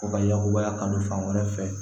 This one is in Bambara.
O ka yakubaya kanu fan wɛrɛ fɛ